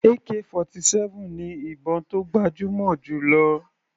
Ak-47 ni ìbọn tó gbajúmọ̀ jù lọ.